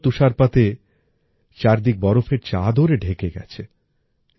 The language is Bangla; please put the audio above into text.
সুন্দর তুষারপাতে চারদিক বরফের চাদরে ঢেকে গেছে